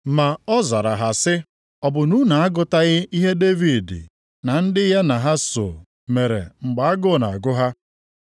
Ma ọ zara ha sị, “Ọ bụ na unu agụtaghị ihe Devid na ndị ya na ha soo mere mgbe agụụ na-agụ ha?